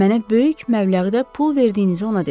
Mənə böyük məbləğdə pul verdiyinizi ona dedim.